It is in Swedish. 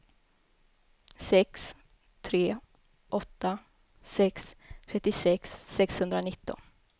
sex tre åtta sex trettiosex sexhundranitton